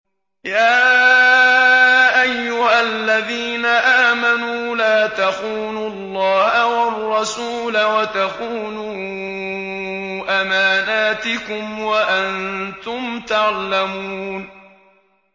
يَا أَيُّهَا الَّذِينَ آمَنُوا لَا تَخُونُوا اللَّهَ وَالرَّسُولَ وَتَخُونُوا أَمَانَاتِكُمْ وَأَنتُمْ تَعْلَمُونَ